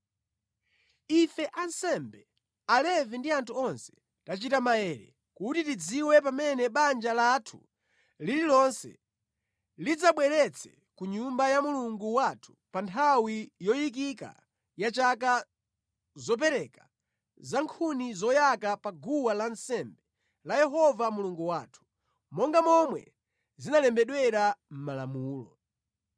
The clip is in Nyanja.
“Ife ansembe, Alevi ndi anthu onse, tachita maere kuti tidziwe pamene banja lathu lililonse lidzabweretsa ku nyumba ya Mulungu wathu pa nthawi yoyikika ya chaka zopereka za nkhuni zoyaka pa guwa lansembe la Yehova Mulungu wathu, monga momwe zinalembedwera mʼMalamulo.”